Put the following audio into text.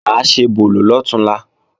Mà á ṣebòlò lọ̀túnla